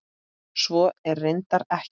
Svo er reyndar ekki.